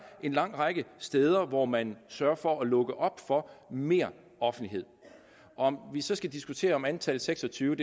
en lang række steder hvor man sørger for at lukke op for mere offentlighed om vi så skal diskutere om antallet seks og tyve er